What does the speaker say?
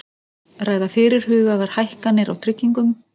Ræða fyrirhugaðar hækkanir á tryggingum